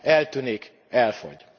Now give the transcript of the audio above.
eltűnik, elfogy.